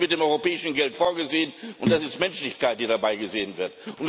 Das ist mit dem europäischen Geld vorgesehen, und das ist Menschlichkeit, die dabei gesehen wird.